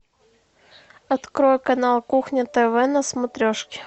открой канал кухня тв на смотрешке